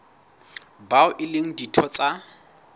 bao e leng ditho tsa